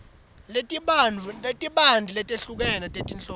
letibanti letehlukene tetinhloso